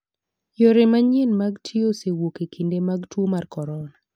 Yore manyien mag tiyo osewuok e kinde mag tuo mar corona.